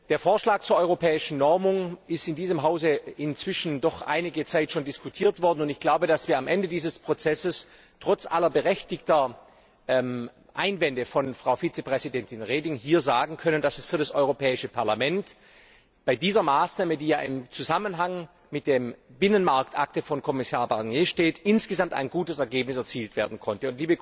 Der Vorschlag zur europäischen Normung ist in diesem Hause doch einige Zeit diskutiert worden. Ich glaube, dass wir am Ende dieses Prozesses trotz aller berechtigten Einwände von Frau Vizepräsdentin Reding hier sagen können, dass für das Europäische Parlament bei dieser Maßnahme, die im Zusammenhang mit der Binnenmarktakte von Kommissar Barnier steht, insgesamt ein gutes Ergebnis erzielt werden konnte.